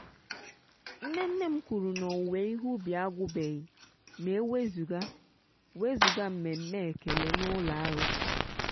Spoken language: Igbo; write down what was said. nne nne m kwuru na owuwe ihe ubi agwụbeghị ma e wezụga wezụga mmemme ekele n'ụlọ arụsị.